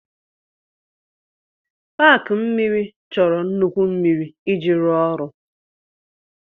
Paaki mmiri chọrọ nnukwu mmiri iji rụọ ọrụ.